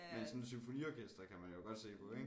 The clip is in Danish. Men sådan et symfoniorkester kan man jo godt se på ik